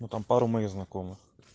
ну там пару моих знакомых